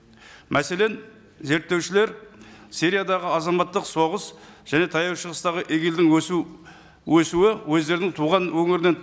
мәселен зерттеушілер сириядағы азаматтық соғыс және таяу шығыстағы игил дің өсу өсуі өздерінің туған өңірінен